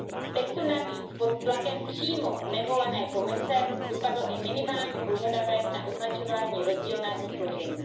Z textu navíc pod tlakem přímo nevolené Komise vypadl i minimální požadavek na označování rozdílného složení.